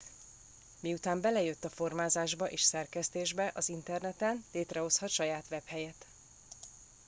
miután belejött a formázásba és szerkesztésbe az interneten létrehozhat saját webhelyet